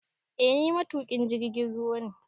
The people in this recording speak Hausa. Eh ni matuƙin jirgin ruwa ne